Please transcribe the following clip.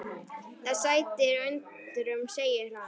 Það sætir undrum segir hann.